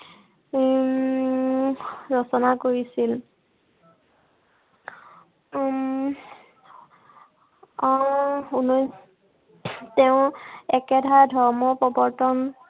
উম ৰচনা কৰিছিল। উম আহ উনৈছ তেওঁ একেধাৰ ধৰ্ম প্ৰৱৰ্তন